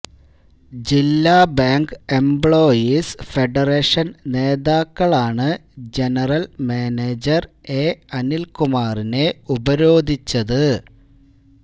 ജില്ലാ bank employees ഫെഡറേഷന് നേതാക്കളാണ് ജനറല് മാനേജര് എ അനില് കുമാറിനെ ഉപരോധിച്ചത്